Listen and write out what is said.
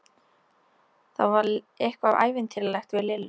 Það var eitthvað ævintýralegt við Lillu.